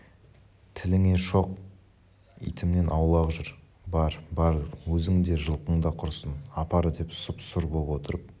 тіліңе шоқ итімнен аулақ жүр бар-бар өзің де жылқың да құрысын апар деп сұп-сұр боп отырып